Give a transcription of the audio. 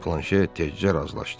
Planşer tezcə razılaşdı.